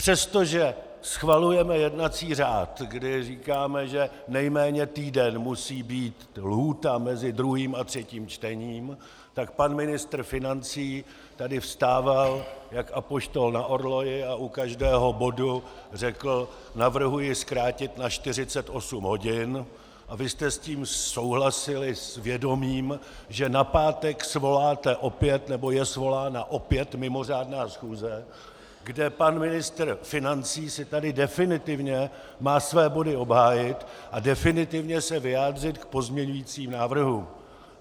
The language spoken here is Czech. Přestože schvalujeme jednací řád, kdy říkáme, že nejméně týden musí být lhůta mezi druhým a třetím čtením, tak pan ministr financí tady vstával jak apoštol na orloji a u každého bodu řekl: navrhuji zkrátit na 48 hodin, a vy jste s tím souhlasili s vědomím, že na pátek svoláte opět, nebo je svolána opět mimořádná schůze, kde pan ministr financí si tady definitivně má své body obhájit a definitivně se vyjádřit k pozměňujícím návrhům.